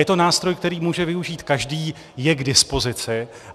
Je to nástroj, který může využít každý, je k dispozici.